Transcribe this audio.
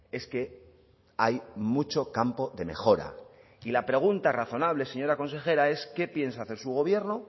es que hay mucho campo de mejora y la pregunta razonable señora consejera es qué piensa hacer su gobierno